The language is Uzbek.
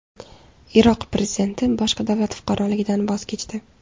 Iroq prezidenti boshqa davlat fuqaroligidan voz kechdi.